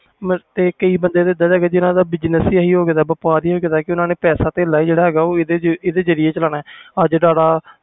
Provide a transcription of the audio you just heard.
ਤੇ ਕਈ ਬੰਦੇ ਹੈ ਗਏ ਆ ਜਿਨ੍ਹਾਂ ਦਾ ਹੀ business ਵਪਾਰ ਹੀ ਹੋ ਗਿਆ ਪੈਸਾ ਤੇਲਾ ਵੀ ਇਸ ਜਰੀਏ ਚਾਲਣਾ ਆ